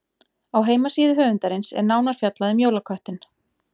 Á heimasíðu höfundarins er nánar fjallað um jólaköttinn.